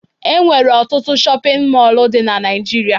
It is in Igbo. Enwere ọtụtụ shọpịn mọlụ dị na Naịjirịa.